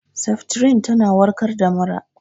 Seftrin tana warkar da mura